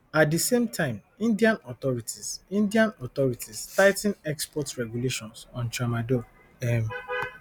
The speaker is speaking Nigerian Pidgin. at di same time indian authorities indian authorities tigh ten export regulations on tramadol um